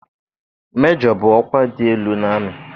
Mejọ bụ ọkwa dị elu n'amị